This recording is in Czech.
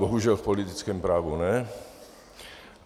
Bohužel v politickém právu ne.